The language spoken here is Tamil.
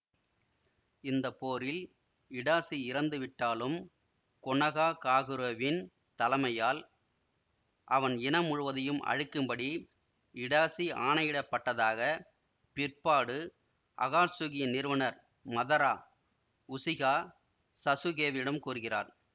இந்த போரில் இடாசி இறந்து விட்டாலும் கொனாஹாகாகுரவின் தலைமையால் அவன் இனம் முழுவதையும் அழிக்கும்படி இடாசி ஆணையிடப்பட்டதாகப் பிற்பாடு அகாட்சுகியின் நிறுவனர் மதரா உசிஹா சசுகேவிடம் கூறுகிறார்